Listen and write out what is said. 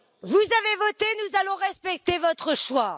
Vous avez voté, nous allons respecter votre choix.